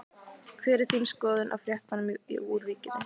Hver er þín skoðun á fréttunum úr Víkinni?